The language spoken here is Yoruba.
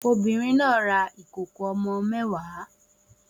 Obìnrin náà ra ìkòkò ọmọ mẹ́wàá